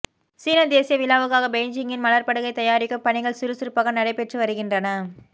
சீனா தேசிய விழாவுக்காக பெய்ஜிங்கில் மலர்ப்படுகை தயாரிக்கும் பணிகள் சுறுசுறுப்பாக நடைபெற்று வருகின்றன